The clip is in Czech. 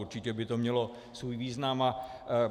Určitě by to mělo svůj význam.